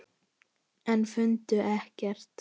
En fundu ekkert.